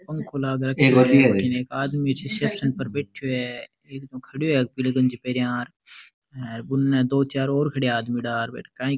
पंखो लाग रखयो एक आदमी रिसेप्सन पर बैठयो है खड्यो है पीली गंजी पेहेनिया और उनने दो चार और खड़या आदमी काइ --